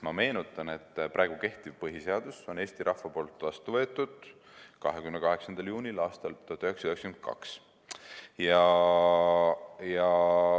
Ma meenutan, et praegu kehtiv põhiseadus on Eesti rahva poolt vastu võetud 28. juunil aastal 1992.